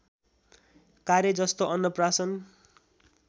कार्य जस्तो अन्नप्राशन